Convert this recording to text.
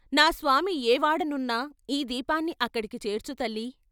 నా స్వామి ఏ వాడనున్నా ఈ దీపాన్ని అక్కడికి చేర్చు తల్లీ